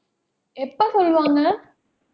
எப்போ சொல்லுவாங்க